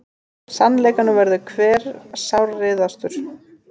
Sannleikanum verður hver sárreiðastur.